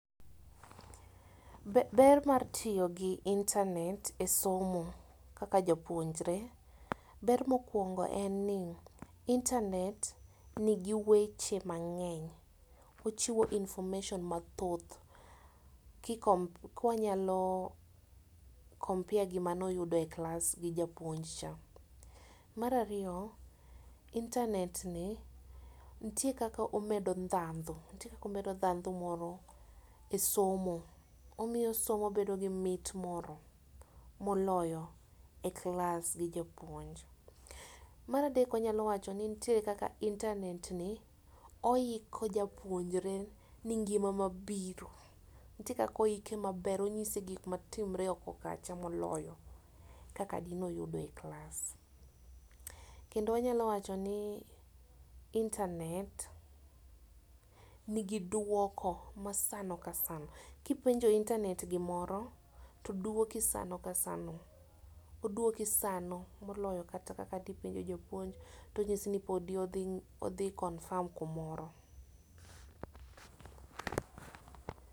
Ber mar tiyo gi internet e somo kaka japuonjre, ber ma okuongo en ni internet ni gi weche mang'eny ochiwo information mathoth ka wanyalo compare gi mane oyudo e klas gi japuoj cha. Mar ariyo, internet ni nitie kaka omedo ndhadho omedo dhandho moro e somo omiyo somo bedo gi mit moro ma oloyo bedo e klas gi japuonj. Mar adek wanya wacho ni nitie kaka internet ni oiko japuonjre ne ngima mabiro nitie kaka oiki maber ong'isi gik ma timore oko kacha moloyo kaka gi nya nene e klas kendo anya wacho ni internet ni gi dwoko ma sa ka sa, ki ipenjo internet gimoro to odwoki sano ka sano, odwoki sano moloyo kata ka di penjo japuonj to odwoki ni odhi confirm ka moro.